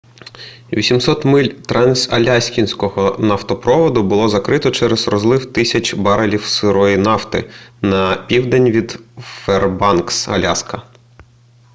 800 миль трансаляскінського нафтопроводу було закрито через розлив тисяч барелів сирої нафти на південь від фербанкс аляска